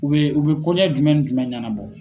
U bɛ u bɛ kɔɲa jumɛn ni jumɛn ɲɛnabɔ?